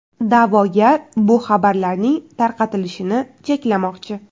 Da’vogar bu xabarlarning tarqatilishini cheklamoqchi.